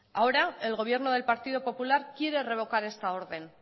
ahora el gobierno del partido popular quiere revocar esta orden